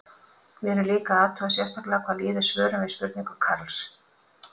Við erum líka að athuga sérstaklega hvað líður svörum við spurningum Karls.